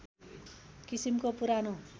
किसिमको पुरानो